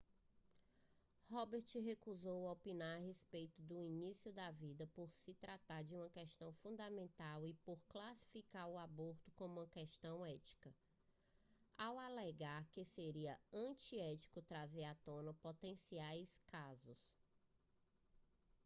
roberts recusou opinar a respeito do início da vida por se tratar de uma questão fundamental e por classificar o aborto como uma questão ética ao alegar que seria antiético trazer à tona potenciais casos